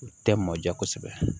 U tɛ mɔ ja kosɛbɛ